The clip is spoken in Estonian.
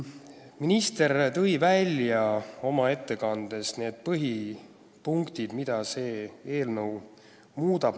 Minister tõi oma ettekandes välja põhipunktid, mida see eelnõu seaduseks saades muudab.